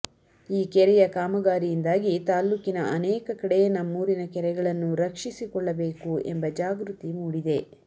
ಈ ಕೆರೆಯ ಕಾಮಗಾರಿಯಿಂದಾಗಿ ತಾಲ್ಲೂಕಿನ ಅನೇಕ ಕಡೆ ನಮ್ಮೂರಿನ ಕೆರೆಗಳನ್ನು ರಕ್ಷಿಸಿಕೊಳ್ಳಬೇಕು ಎಂಬ ಜಾಗೃತಿ ಮೂಡಿದೆ